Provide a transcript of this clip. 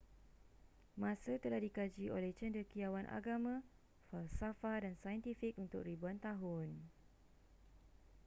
masa telah dikaji oleh cendekiawan agama falsafah dan saintifik untuk ribuan tahun